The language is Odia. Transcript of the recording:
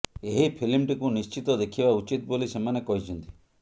ଏହି ଫିଲ୍ମଟିକୁ ନିଶ୍ଚିତ ଦେଖିବା ଉଚିତ ବୋଲି ସେମାନେ କହିଛନ୍ତି